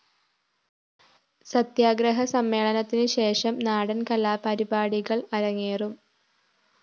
സത്യഗ്രഹ സമ്മേളനത്തിനു ശേഷം നാടന്‍ കലാപരിപാടികള്‍ അരങ്ങേറും